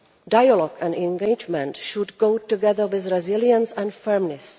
Dialogue and engagement should go together with resilience and firmness.